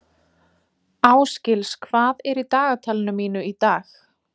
Ásgils, hvað er í dagatalinu mínu í dag?